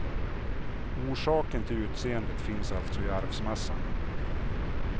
Orsaken till utseendet finns alltså i arvsmassan.